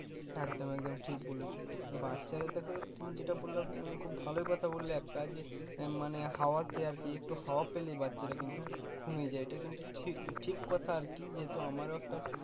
একদম একদম ঠিক বলেছো বাচ্ছাদের দেখো তুমি যেটা বললে মানে খুব ভালোই কথা বললে একটা যে মানে হাওয়াতে আর কি একটু হাওয়া পেলেই বাচ্ছারা কিন্তু ঘুমিয়ে যায় এটা কিন্তু ঠিক ঠিক কথা আর কি যেহুতু আমার ও একটা